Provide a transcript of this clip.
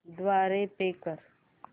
द्वारे पे कर